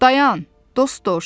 Dayan, dost dovşan!